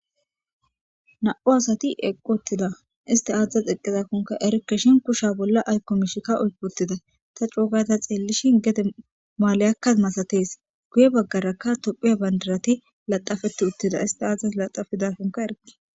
Na'u asati eqqu ottida isti aadzas eqqizakonka erikke shin kusha bolla aykkomishikka oyk uttida ta coogayta xeellishin gede maaleyakka masatees guye baggarakka tophiya bandirati laxafeti uttida isti aadzas laxafidakonka erke.